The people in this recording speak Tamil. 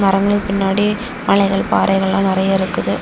மரங்கள் பின்னாடி மலைகள் பாறைகள்ல நெறைய இருக்குது.